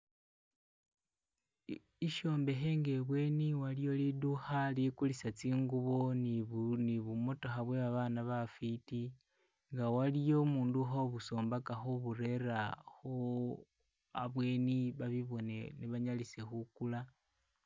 Ishombekhe nga ibweni waliyo lidukha ilikulisa tsingubo ne bumotokha bwe babana bafwiti nga waliyo umundu ukhobusombaka khuburela khu abweni babubone ne banyalise khukula